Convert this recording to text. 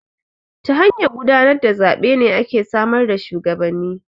Ta hanyar gudanar da zaɓe ne ake samar da shuwagabanni.